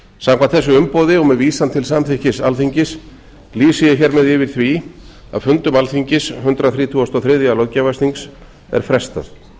samkvæmt þessu umboði og með vísan til samþykkis alþingis lýsi ég hér með yfir því að fundum alþingis hundrað þrítugasta og þriðja löggjafarþings er frestað ég leyfi